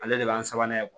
Ale de b'a sabanan